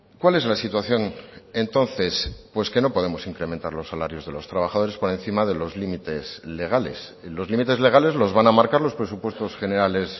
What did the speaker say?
cuál es la situación entonces pues que no podemos incrementar los salarios de los trabajadores por encima de los límites legales los límites legales los van a marcar los presupuestos generales